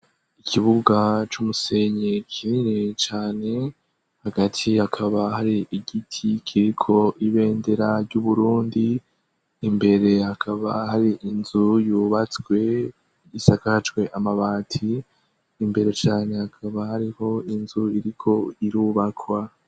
Ikibuga c'umusenyi kinini cane, hagati hakaba hari igiti kiriko ibendera ry'u Burundi, imbere hakaba hari inzu yubatswe isakajwe amabati, imbere cane hakaba hariho inzu iriko irubakwa.